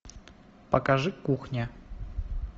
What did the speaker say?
покажи кухня